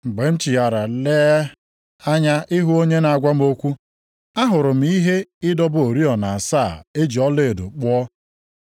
Mgbe m chigharịrị, lee anya ịhụ onye na-agwa m okwu, ahụrụ m ihe ịdọba oriọna asaa e ji ọlaedo kpụọ.